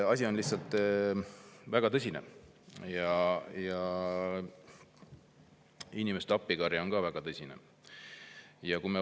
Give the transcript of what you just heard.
Asi on väga tõsine ja inimeste appikarje on ka väga tõsine.